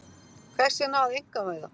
Hvers vegna að einkavæða?